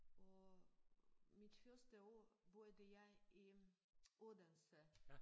Og mit første år boede jeg i Odense